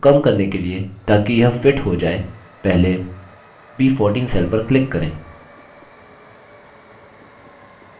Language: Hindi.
text को कम करने के लिए ताकि यह fits हो जाय पहले b14 cell पर click करें